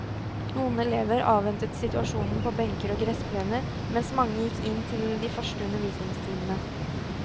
Noen elever avventet situasjonen på benker og gressplener, mens mange gikk inn til de første undervisningstimene.